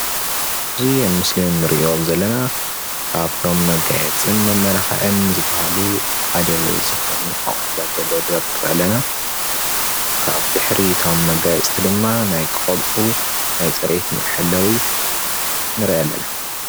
እዚ ኣብ ምስሊ እንሪኦ ዘለና ካብቶም መጋየፅትን መማላክዕትን ዝበሃሉ ሓደ ዝኮነ ኣቁሑታት ዝተደርደሩ ንሪኢ ኣለና ብድሕሪ እቶም መጋየፅቲ ድማ ናይ ቆልዑ ናይ ፅሬቶም መሐለዊ ንርኢ ኣለና፡፡